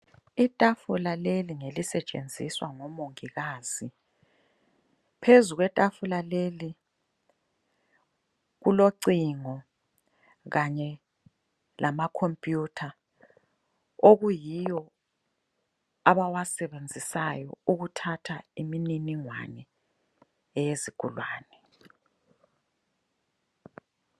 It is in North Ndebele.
Itafula leli ngelisetshenziswa ngomongikazi. Phezu kwetafula leli, kulocingo kanye lama khompuyutha okuyiwo abawasebenzisayo ukuthatha iminingwane eyesigulane.